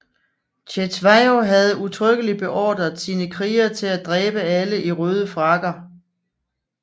Cetshwayo havde udtrykkelig beordret sine krigere til at dræbe alle i røde frakker